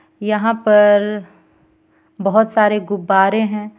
यहाँ पर बहोत सारे गुबारे हे.